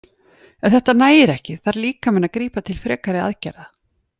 Ef þetta nægir ekki þarf líkaminn að grípa til frekari aðgerða.